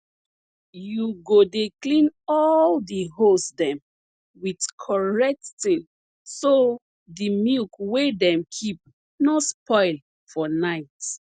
u go dey clean all de hose dem with correct tin so dey milk wey dem keep nor spoil for night